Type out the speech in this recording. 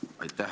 Aitäh!